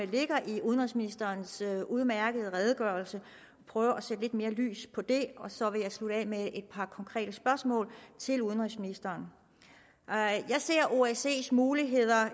ligger i udenrigsministerens udmærkede redegørelse jeg prøve at sætte lidt mere lys på det og så vil jeg slutte af med et par konkrete spørgsmål til udenrigsministeren jeg ser osce’s muligheder